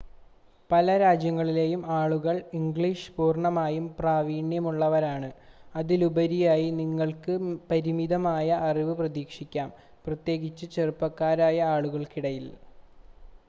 പല രാജ്യങ്ങളിലെയും ആളുകൾ ഇംഗ്ലീഷിൽ പൂർണ്ണമായും പ്രാവീണ്യമുള്ളവരാണ് അതിലുപരിയായി നിങ്ങൾക്ക് പരിമിതമായ അറിവ് പ്രതീക്ഷിക്കാം പ്രത്യേകിച്ച് ചെറുപ്പക്കാരായ ആളുകൾക്കിടയിൽ